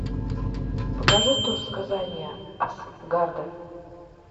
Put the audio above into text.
покажи тор сказания асгарда